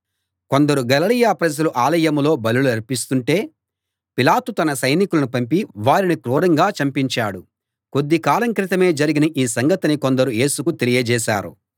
కొందరు గలిలయ ప్రజలు ఆలయంలో బలులర్పిస్తుంటే పిలాతు తన సైనికులను పంపి వారిని క్రూరంగా చంపించాడు కొద్ది కాలం క్రితమే జరిగిన ఈ సంగతిని కొందరు యేసుకు తెలియజేశారు